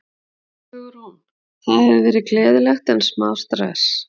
Hugrún: Það hefur verið gleðilegt en smá stress?